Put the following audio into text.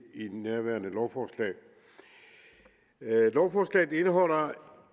nærværende lovforslag lovforslaget indeholder